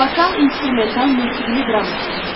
Vokal instrumental musiqili drama əsəridir.